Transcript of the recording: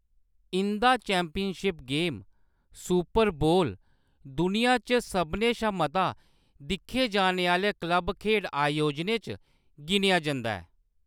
इंʼदा championship game, super bowl, दुनिया च सभनें शा मता दिक्खे जाने आह्‌‌‌ले क्लब खेढ आयोजनें च गिनेआ जंदा ऐ।